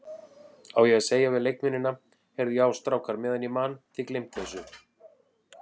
Á ég að segja við leikmennina, Heyrðu já strákar meðan ég man, þið gleymt þessu?